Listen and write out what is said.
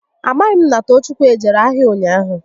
A maghị m na Toochukwu ejere ahịa ụnyaahụ